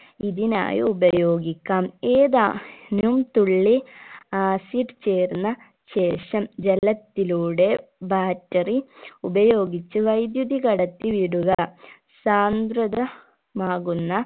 ഇതിനായി ഉപയോഗിക്കാം ഏതാ നും തുള്ളി acid ചേർന്ന ശേഷം ജലത്തിലൂടെ battery ഉപയോഗിച്ച് വൈദ്യുതി കടത്തി വിടുക സാന്ദ്രത മാകുന്ന